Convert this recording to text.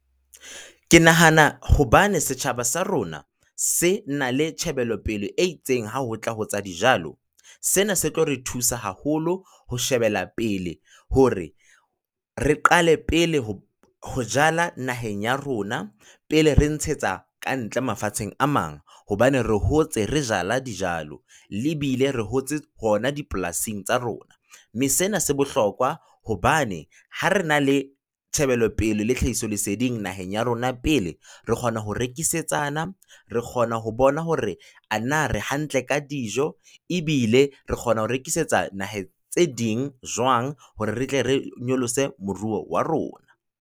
Ke nahana hobane setjhaba sa rona se na le tjhebelopele e itseng ha ho tla etsa dijalo. Sena se tlo re thusa haholo ho shebela pele hore re qale pele ho jala naheng ya rona pele re ntshetsa kantle mafatsheng a mang hobane re hotse, re jala dijalo, e bile re hotse hona dipolasing tsa rona, mme sena se bohlokwa hobane ha re na le tjhebelopele le tlhahisoleseding naheng ya rona pele, re kgona ho rekisetsana, re kgona ho bona hore ana re hantle ka dijo, ebile re kgona ho rekisetsa naheng tse ding jwang hore re tle re nyolose moruo wa rona.